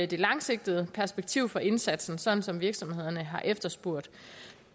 det langsigtede perspektiv for indsatsen sådan som virksomhederne har efterspurgt